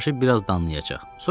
Uzaqbaşı biraz danlayacaq.